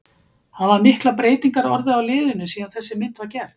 Hafa miklar breytingar orðið á liðinu síðan þessi mynd var gerð?